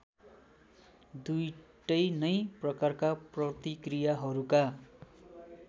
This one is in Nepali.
दुईटै नै प्रकारका प्रतिक्रियाहरूका